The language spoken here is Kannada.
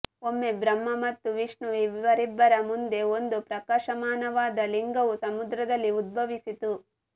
ಒಮ್ಮೆ ಬ್ರಹ್ಮ ಮತ್ತು ವಿಷ್ಣು ಇವರಿಬ್ಬರ ಮುಂದೆ ಒಂದು ಪ್ರಕಾಶಮಾನವಾದ ಲಿಂಗವು ಸಮುದ್ರದಲ್ಲಿ ಉದ್ಭವಿಸಿತು